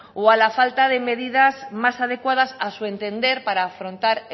o a la falta de medidas más adecuadas a su entender para afrontar